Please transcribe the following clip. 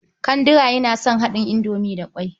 Kandira yana son haɗin indomi da ƙwai.